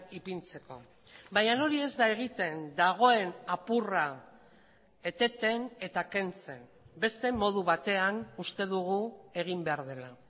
ipintzeko baina hori ez da egiten dagoen apurra eteten eta kentzen beste modu batean uste dugu egin behar dela